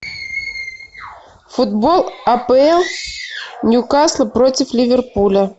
футбол апл ньюкасл против ливерпуля